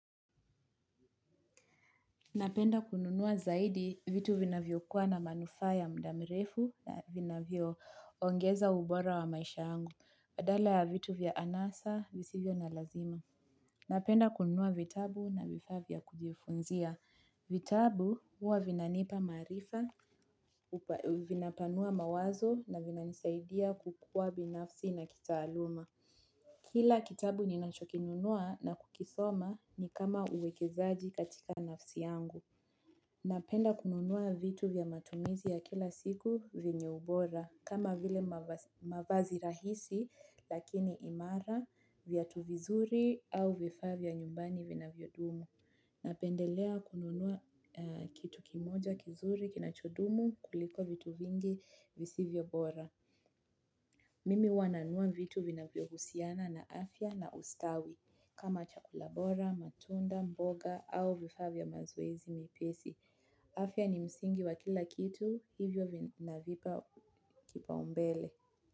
Napenda kununua zaidi vitu vinavyo kuwa na manufaa ya mda mirefu na vinavyo ongeza ubora wa maisha yangu. Adala ya vitu vya anasa visivyo na lazima. Napenda kununua vitabu na vifaa vya kujifunzia. Vitabu huwa vinanipa maarifa, vinapanua mawazo na vinansaidia kukua binafsi na kitaaluma. Kila kitabu ninachokinunua na kukisoma ni kama uwekezaaji katika nafsi yangu. Napenda kununua vitu vya matumizi ya kila siku venye ubora kama vile mavazi rahisi lakini imara viatu vizuri au vifaa vya nyumbani vinavyo dumu. Napendelea kununuwa kitu kimoja kizuri kinachodumu kuliko vitu vingi visivyobora. Mimi huwa nanua vitu vina vyohusiana na afya na ustawi kama chakula bora, matunda, mboga au vifaa vya mazoezi mepesi. Afia ni msingi wa kila kitu hivyo navipa kipaumbele.